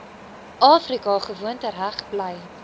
afrika gewoontereg bly